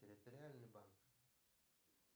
территориальный банк